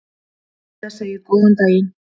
Heiða segir góðan daginn!